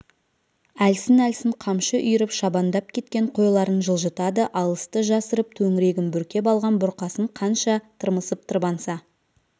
әлсін-әлсін қамшы үйіріп шабандап кеткен қойларын жылжытады алысты жасырып төңірегін бүркеп алған бұрқасын қанша тырмысып тырбанса